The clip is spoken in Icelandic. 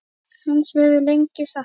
Hans verður lengi saknað.